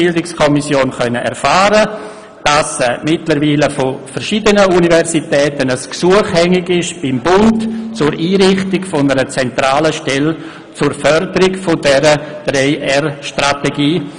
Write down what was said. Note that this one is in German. Nun konnten wir in der BiK erfahren, dass mittlerweile von verschiedenen Universitäten ein Gesuch beim Bund hängig ist zur Einrichtung einer zentralen Stelle zur Förderung dieser 3-R-Strategie.